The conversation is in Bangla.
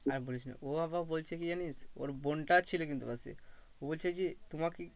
আর বলিস না ও আবার বলেছে কি জানিস ওর বোনটাও ছিল কিন্তু পাশে ও বলছে যে তোমাকে